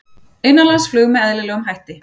Innanlandsflug með eðlilegum hætti